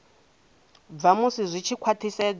bva musi zwi tshi khwathisedzwa